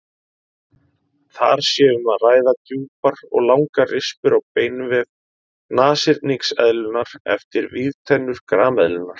Þar sé um að ræða djúpar og langar rispur á beinvef nashyrningseðlunnar eftir vígtennur grameðlunnar.